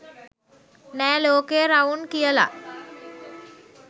'නෑ ලෝකය රවුන්' කියල.